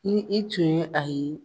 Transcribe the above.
Ni i tun ye a ye